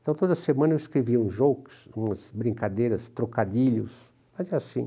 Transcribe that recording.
Então, toda semana eu escrevia uns jokes, umas brincadeiras, trocadilhos, fazia assim.